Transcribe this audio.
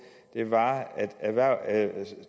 er at